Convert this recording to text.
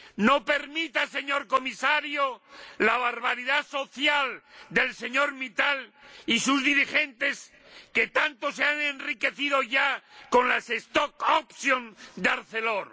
No permita, señor Comisario, la barbaridad social del señor Mittal y sus dirigentes, que tanto se han enriquecido ya con las de Arcelor.